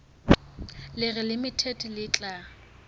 le reng limited le tla